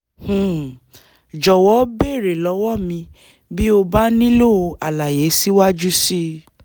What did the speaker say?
um jọ̀wọ́ béèrè lọ́wọ́ mi bí o bá nílò àlàyé síwájú sí i